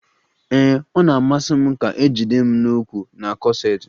Ee, ọ na-amasi m ka a jide m n'ukwu na kọseti